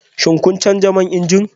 Shin kun canza man inji?